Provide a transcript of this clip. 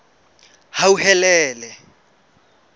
hauhelele